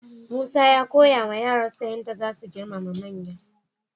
Musa ya koyawa yaransa yadda za su girmama manya.